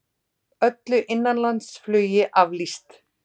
Öllu innanlandsflugi aflýst